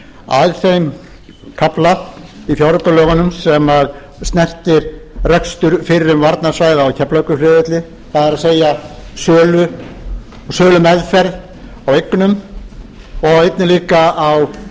að þeim kafla í fjáraukalögunum sem snertir rekstur fyrrum varnarsvæða á keflavíkurflugvelli það er sölumeðferð a eignum og einnig líka á